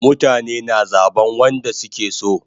Mutane na zaban wanda suke so